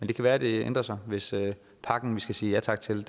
det kan være det ændrer sig hvis pakken vi skal sige ja tak til